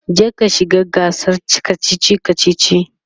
je ka shiga gasar kachichi kachichi!